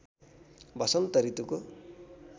वसन्त ऋतुको